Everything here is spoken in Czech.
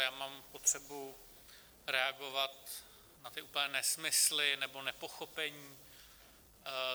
Já mám potřebu reagovat na ty úplné nesmysly nebo nepochopení.